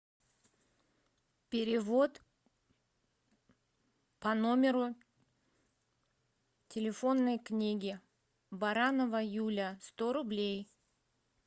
перевод по номеру телефонной книги баранова юля сто рублей